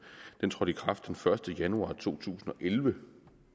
trådte i kraft den første januar to tusind og elleve